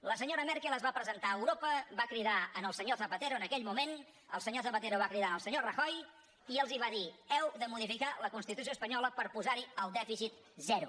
la senyora merkel es va presentar a europa va cridar el senyor zapatero en aquell moment el senyor zapatero va cridar el senyor rajoy i els va dir heu de modificar la constitució espanyola per posar hi el dèficit zero